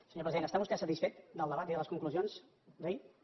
senyor president està vostè satisfet del debat i de les conclusions d’ahir